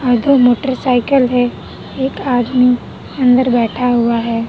Motorcycle हैं एक आदमी अंदर बैठा हुवा हैं।